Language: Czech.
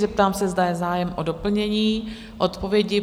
Zeptám se, zda je zájem o doplnění odpovědi?